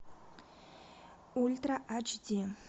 ультра ач ди